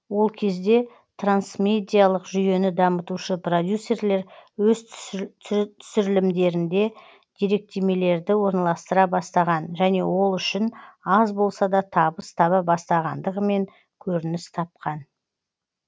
ол кезде трансмедиалық жүйені дамытушы продюсерлер өз түсірілімдерінде деректемелерді орналастыра бастаған және ол үшін аз болса да табыс таба бастағандығымен көрініс тапқан